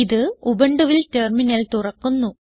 ഇത് ഉബുണ്ടുവിൽ ടെർമിനൽ തുറക്കുന്നു